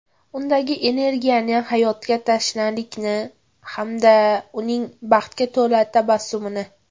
Undagi energiyani, hayotga tashnalikni hamda uning baxtga to‘la tabassumini.